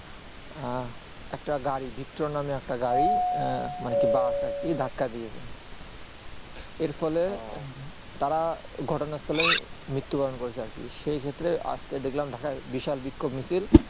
আহ একটা গাড়ি victor নামে একটা গাড়ি আহ মানে কি bus আর কি ধাক্কা দিয়েছে এর ফলে তারা ঘটনা স্থলে মৃত্যু বরণ করেছে আর কি সেই ক্ষেত্রে আজকে দেখলাম ঢাকায় বিশাল বিক্ষোভ মিচিল